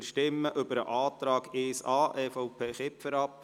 Wir stimmen über den Antrag 1a, EVP/Kipfer, ab.